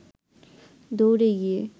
দৌড়ে গিয়ে